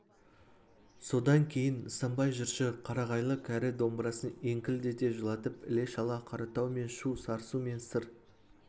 содан кейін нысанбай жыршы қарағайлы кәрі домбырасын еңкілдете жылатып іле-шала қаратау мен шу сарысу мен сыр